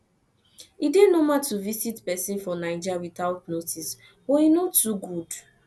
e dey normal to visit pesin for naija witout notice but e no too good